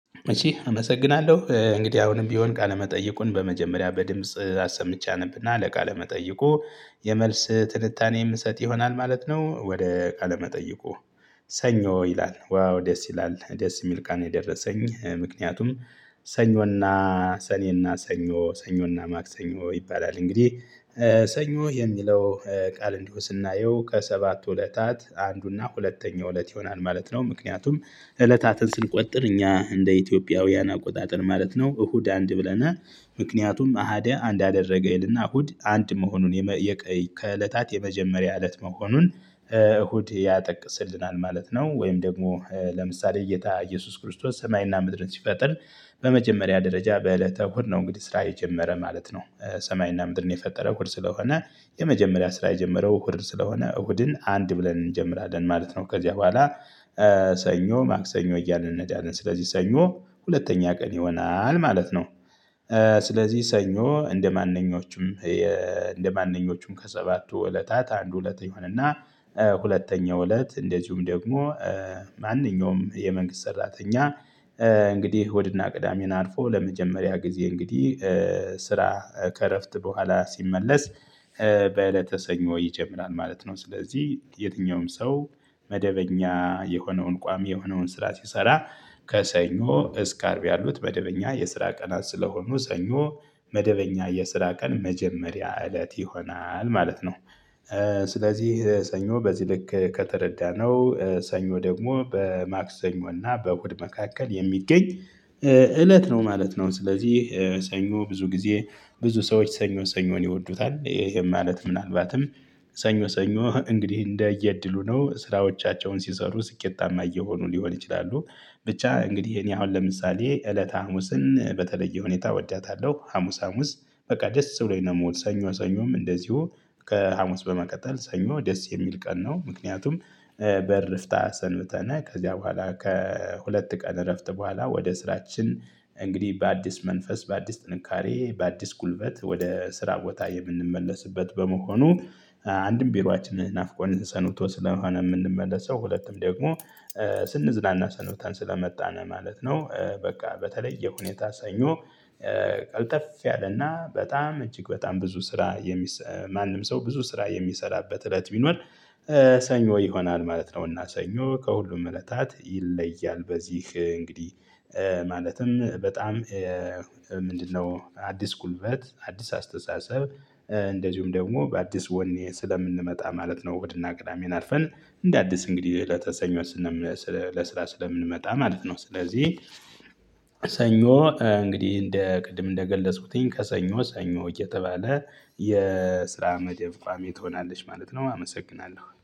እሺ አመሰግናለሁ እንግዲህ አሁንም ቢሆን ቃለመጠይቁን በመጀመሪያ በድምጽ አሰምቼ አነብና ለቃለመጠይቁ የመልስ ትንታኔ የምሰጥ ይሆናል ማለት ነው። ወደ ቃለ መጠይቁ ሰኞ ይላል። ዋው ደስ ይላል ደስ የሚል ቀን የደረሰኝ ምክንያቱም ሰኞና ሰኔና ሰኞ ሰኞና ማክሰኞ ይባላል። እንግዲህ ሰኞ የሚለው ቃል እንዲሁ ስናየው ከሰባቱ እለታት አንዱና ሁለተኛው እለት ይሆናል ማለት ነው። ምክንያቱም እለታትን ስንቆጥር እኛ እንደ ኢትዮጵያውያን አቆጣጠር ማለት ነው። እሁድ አንድ ብለናል ምክንያቱም አሃደ አንድ አደረገ ይልና እሁድ አንድ መሆኑን የቀይ ከእለታት የመጀመሪያ እለት መሆኑን እሁድ ያጠቅስልናል ማለት ነው። ወይም ደግሞ ለምሳሌ ጌታ ኢየሱስ ክርስቶስ ሰማይና ምድርን ሲፈጥር በመጀመሪያ ደረጃ በእለተ እሁድ ነው እንግዲህ ስራ የጀመረ ማለት ነው። ሰማይና ምድርን የፈጠረ እሁድ ስለሆነ የመጀመሪያ ስራ የጀመረው እሁድ ስለሆነ እሁድን አንድ ብለን እንጀምራለን ማለት ነው። ከዚያ በኋላ ሰኞ ማክሰኞ እያልን ነጃልን ስለዚህ ሰኞ ሁለተኛ ቀን ይሆናል ማለት ነው። ስለዚህ ሰኞ እንደማንኞቹም እንደማንኞቹም ከሰባቱ እለታት አንዱ እለተ ይሆንና ሁለተኛው እለት እንደዚሁም ደግሞ ማንኛውም የመንግስት ሰራተኛ እንግዲህ እሁድና ቅዳሜን አልፎ ለመጀመሪያ ጊዜ እንግዲህ ስራ ከእረፍት በኋላ ሲመለስ በዕለተ ሰኞ ይጀምራል ማለት ነው። ስለዚህ የትኛውም ሰው መደበኛ የሆነውን ቋሚ የሆነውን ስራ ሲሰራ ከሰኞ እስከ አርብ ያሉት መደበኛ የስራ ቀናት ስለሆኑ ሰኞ መደበኛ የስራ ቀን መጀመሪያ እለት ይሆናል ማለት ነው። ስለዚህ ሰኞ በዚህ ልክ ከተረዳነው ሰኞ ደግሞ በማክሰኞ እና በእሁድ መካከል የሚገኝ እለት ነው ማለት ነው። ስለዚህ ሰኞ ብዙ ጊዜ ብዙ ሰዎች ሰኞ ሰኞን ይወዱታል ይሄም ማለት ምናልባትም ሰኞ ሰኞ እንግዲህ እንደየእድሉ ነው ስራዎቻቸውን ሲሰሩ ስኬታማ እየሆኑ ሊሆን ይችላሉ። ብቻ እንግዲህ እኔ አሁን ለምሳሌ እለተ ሀሙስን በተለየ ሁኔታ እወዳታለሁ ሀሙስ ሀሙስ በቃ ደስ ብሎኝ ነው የምውል። ሰኞ ሰኞም እንደዚሁ ከሀሙስ በመቀጠል ሰኞ ደስ የሚል ቀን ነው። ምክንያቱም በእረፍት ሰንብተን ከዚያ በኋላ ከሁለት ቀን እረፍት በኋላ ወደ ስራችን እንግዲህ በአዲስ መንፈስ በአዲስ ጥንካሬ በአዲስ ጉልበት ወደ ስራ ቦታ የምንመለስበት በመሆኑ አንድም ቢሮአችንን ናፍቆን ሰንብቶ ስለሆነ የምንመለሰው ሁለቱም ደግሞ ስንዝናና ሰንብተን ስለመጣን ማለት ነው። በቃ በተለይ ሁኔታ ሰኞ ቀልተፍ ያለና በጣም እጅግ በጣም ብዙ ስራ የሚሰማ ማንም ሰው ብዙ ስራ የሚሰራበት እለት ቢኖር ሰኞ ይሆናል ማለት ነው። እና ሰኞ ከሁሉም እለታት ይለያል በዚህ እንግዲህ ማለትም በጣም ምንድነው አዲስ ጉልበት አዲስ አስተሳሰብ እንደዚሁም ደግሞ በአዲስ ወኔ ስለምንመጣ ማለት ነው። እሁድና ቅዳሜን አልፈን እንደ አዲስ እንግዲህ እለተ ሰኞ ለስራ ስለምንመጣ ማለት ነው። ስለዚህ ሰኞ እንግዲህ እንደ ቅድም እንደገለጽኩትኝ ከሰኞ ሰኞ እየተባለ የስራ መደብ ቋሚ ትሆናለች ማለት ነው። አመሰግናለሁ